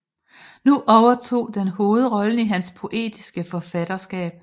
Nu overtog den hovedrollen i hans poetiske forfatterskab